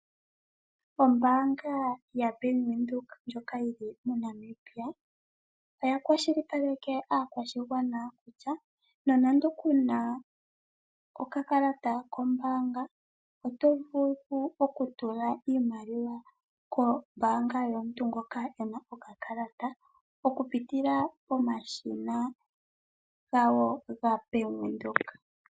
Ombaanga yaBank Windhoek ndjoka yili mo Namibia, oya kwashilipaleke aakwashigwana kutya nonando ku na okakalata kombaanga oto vulu okutula iimaliwa kombanga yomuntu ngoka e na okakalata okupitila pomashina gawo gaBank Windhoek.